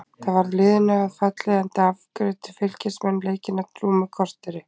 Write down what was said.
Það varð liðinu að falli enda afgreiddu Fylkismenn leikinn á rúmu korteri.